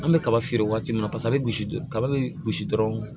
An bɛ kaba feere waati min na paseke an bɛ gosi kaba bɛ gosi dɔrɔn